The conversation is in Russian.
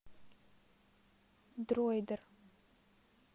дроидер